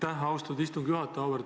Aitäh, austatud istungi juhataja!